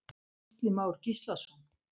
Gísli Már Gíslason.